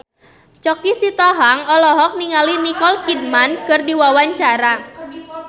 Choky Sitohang olohok ningali Nicole Kidman keur diwawancara